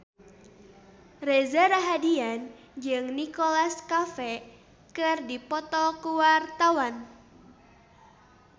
Reza Rahardian jeung Nicholas Cafe keur dipoto ku wartawan